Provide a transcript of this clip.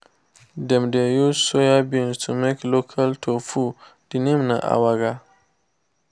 dem dey use soybeans to make local tofu the name na awara